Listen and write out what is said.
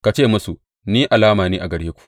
Ka ce musu, Ni alama ne a gare ku.’